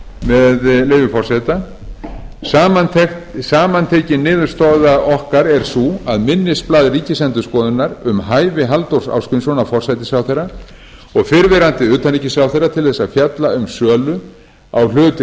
með leyfi forseta samantekin niðurstaða okkar er sú að minnisblað ríkisendurskoðunar um hæfi halldórs ásgrímssonar forsætisráðherra og fyrrverandi utanríkisráðherra til þess að fjalla um sölu á hlut